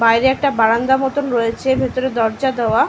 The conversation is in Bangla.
বাইরে একটা বারান্দার মতন রয়েছে ভিতরে দরজা দেওয়া।